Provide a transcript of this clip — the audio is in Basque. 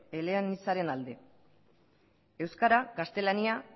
eleanitzaren alde euskara gaztelania